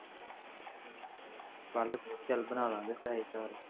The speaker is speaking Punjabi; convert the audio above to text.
ਕੱਲ੍ਹ ਫੇਰ ਚੱਲ ਬਣਾ ਲਾਂ ਗੇ